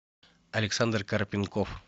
александр карпенков